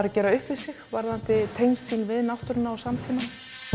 að gera upp við sig varðandi tengslin við náttúruna og samtímann